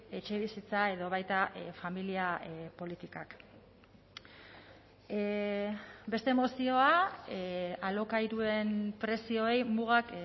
etxebizitza edo baita familia politikak beste mozioa alokairuen prezioei mugak